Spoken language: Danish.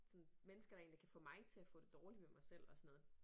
Sådan mennesker der egentlig kan få mig til at få det dårligt med mig selv og sådan noget